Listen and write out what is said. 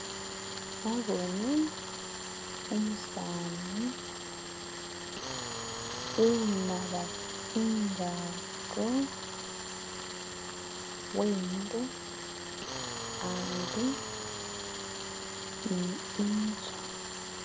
Naboone umusani unaba tsingato wemile ambi ni inzu.